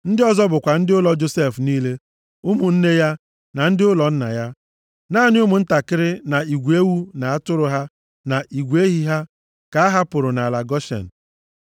Ndị ọzọ bụkwa ndị ụlọ Josef niile, ụmụnne ya, na ndị ụlọ nna ya. Naanị ụmụntakịrị, na igwe ewu na atụrụ ha, na igwe ehi ha, ka ha hapụrụ nʼala Goshen.